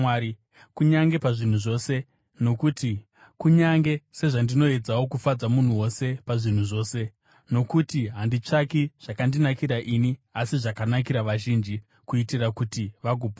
kunyange sezvandinoedzawo kufadza munhu wose pazvinhu zvose. Nokuti handitsvaki zvakandinakira ini asi zvakanakira vazhinji, kuitira kuti vagoponeswa.